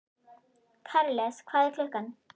Karles, hvað er klukkan?